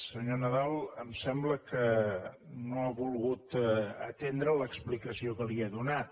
senyor nadal em sem·bla que no ha volgut atendre l’explicació que li he do·nat